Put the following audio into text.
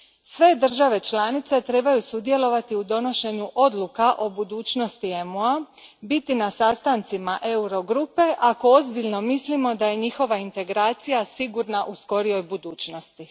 Sve države članice trebaju sudjelovati u donošenju odluka o budućnosti EMU a, biti na sastancima Euro grupe, ako ozbiljno mislimo da je njihova integracija sigurna u skorijoj budućnosti.